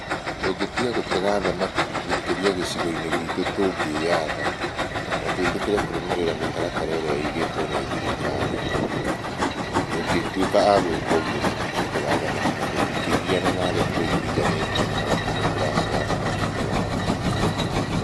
Tũngĩtiga gũtega thamaki gũkĩra gĩco-inĩ gitũ tũngĩatha na tũĩtikire kũrũmĩrĩra mitaratara ĩrĩa igĩtwo nĩ thirikari, tũngĩtuika a gũika ũguo tũtingĩtega thamaki na tũtingigiana na arĩa tũriganĩitie nao atĩ nĩ tũratega thamaki kwao.